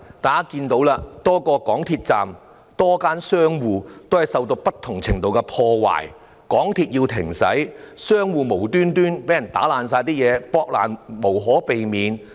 大家看到多個港鐵站及多間商戶受到不同程度的破壞，港鐵要停駛，有商鋪無故遭人大肆破壞，避無可避。